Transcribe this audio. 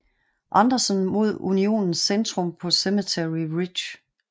Anderson mod Unionens centrum på Cemetery Ridge